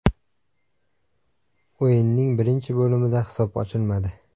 O‘yinning birinchi bo‘limida hisob ochilmadi.